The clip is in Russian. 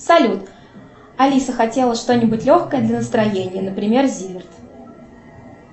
салют алиса хотела что нибудь легкое для настроения например зиверт